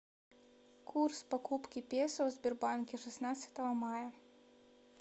курс покупки песо в сбербанке шестнадцатого мая